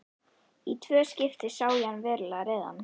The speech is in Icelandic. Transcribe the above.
Í tvö skipti sá ég hann verulega reiðan.